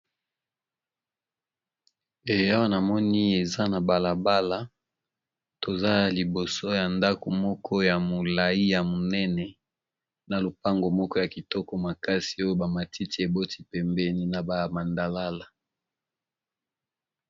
Eya wanamoni eza na balabala toza ya liboso ya ndako moko ya molai ya monene na lopango moko ya kitoko makasi oyo bamatiti eboti pembeni na bamandalala.